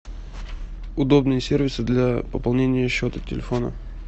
удобные сервисы для пополнения счета телефона